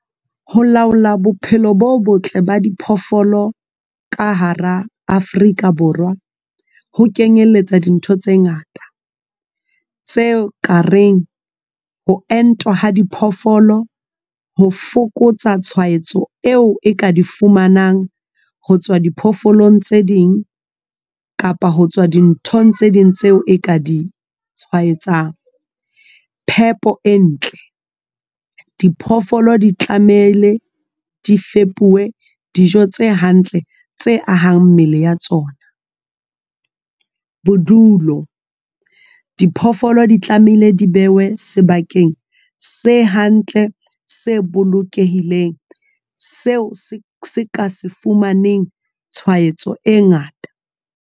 Ho laola bophelo bo botle ba diphoofolo ka hara Afrika Borwa ho kenyeletsa dintho tse ngata tseo ka reng ho entwa ha diphoofolo ho fokotsa tshwaetso eo e ka di fumanang ho tswa diphoofolong tse ding, kapa ho tswa dinthong tse ding tseo e ka ditshwaetsang, phepo e ntle. Diphoofolo di tlamehile di febuwe dijo tse hantle tse ahang mmele ya tsona. Bodulo diphoofolo di tlamehile di behwe sebakeng se hantle, se bolokehileng seo se ka se fumaneng tshwaetso e ngata.